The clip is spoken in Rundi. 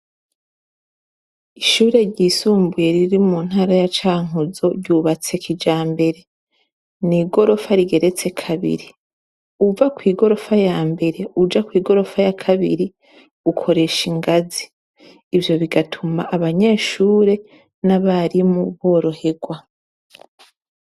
Ishure ryisumbuye riri mu ntara ya cankuzo ryubatse kijambere. N'igirofa rigeretse kabiri, uva kw'igorofa ya mbere uja kw'igorofa ya kabiri ukoresha ingazi ivyo bigatuma abanyeshure n'abarimu biroherwa.